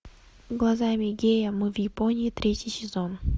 глазами гея мы в японии третий сезон